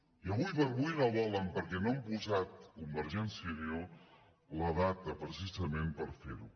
i ara com ara no volen perquè no han posat convergència i unió la data precisament per fer ho